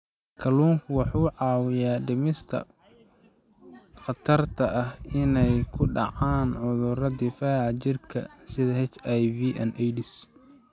Kalluunku wuxuu caawiyaa dhimista khatarta ah inay ku dhacaan cudurrada difaaca jirka sida HIV/AIDS.